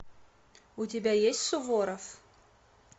у тебя есть суворов